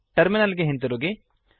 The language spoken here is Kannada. ಟರ್ಮಿನಲ್ ಗೆ ಹಿಂದಿರುಗಿ